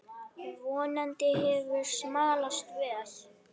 Vonandi hefur smalast vel.